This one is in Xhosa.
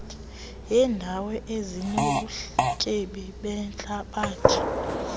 yeendawo ezinobutyebi behlabathi